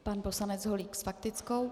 Pan poslanec Holík s faktickou.